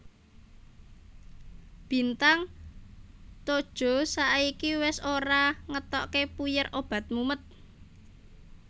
Bintang Todjoeh saiki wes ora ngetokake puyer obat mumet